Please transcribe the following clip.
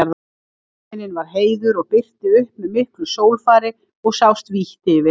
Himinn var heiður og birti upp með miklu sólfari og sást vítt yfir.